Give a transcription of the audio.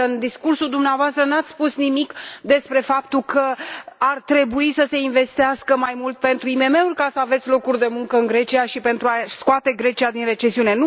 Însă, în discursul dumneavoastră nu ați spus nimic despre faptul că ar trebui să se investească mai mult pentru IMM uri ca să aveți locuri de muncă în Grecia și pentru a scoate Grecia din recesiune.